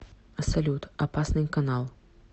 салют опасный канал